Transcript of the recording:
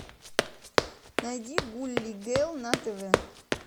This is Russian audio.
найди гулли гел на тв